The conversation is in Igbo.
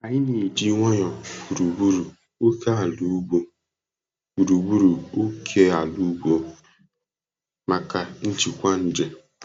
Anyị na-eji wayo gburugburu ókèala ugbo gburugburu ókèala ugbo maka njikwa nje.